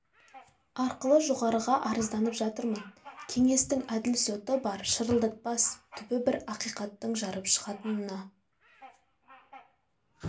арқылы жоғарыға арызданып жатырмын кеңестің әділ соты бар шырылдатпас түбі бір ақихаттың жарып шығатынына